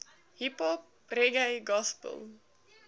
hiphop reggae gospel